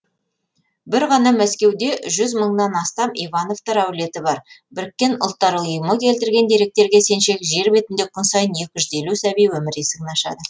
бір ғана мәскеуде жүз мыңнан астам ивановтар әулеті бар біріккен ұлттар ұйымы келтірген деректерге сенсек жер бетінде күн сайын екі жүз елу сәби өмір есігін ашады